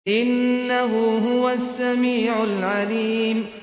إِنَّهُ هُوَ السَّمِيعُ الْعَلِيمُ